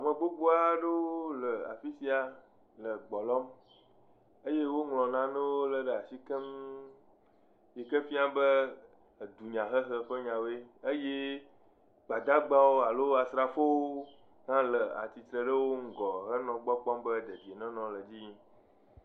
Megbogbo aɖewo le afi sia le gbe lɔm eye woŋlɔ nanewo lé ɖe asi keŋ yi ke fia be edunyahehe ƒe nyawoe eye gbadagbawo alo asrafowo hã le atsitre ɖe wo ŋugɔ henɔ gbɔ kpɔm be be dedienɔnɔ le dzi yim